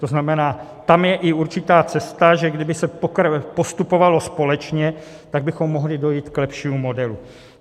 To znamená, tam je i určitá cesta, že kdyby se postupovalo společně, tak bychom mohli dojít k lepšímu modelu.